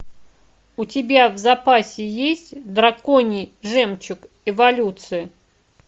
у тебя в запасе есть драконий жемчуг эволюция